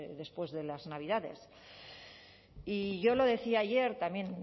después de las navidades y yo lo decía ayer también